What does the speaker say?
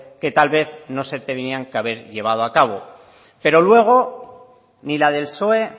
que tal vez no se tenían que haber llevado a cabo pero luego ni la del psoe